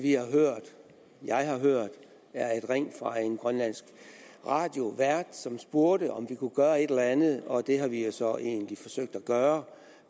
jeg har hørt er et ring fra en grønlandsk radiovært som spurgte om vi kunne gøre et eller andet og det har vi jo så egentlig forsøgt at gøre